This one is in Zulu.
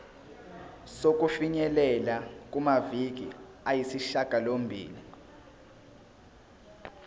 sokufinyelela kumaviki ayisishagalombili